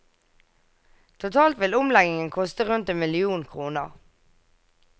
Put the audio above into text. Totalt vil omleggingen koste rundt en million kroner.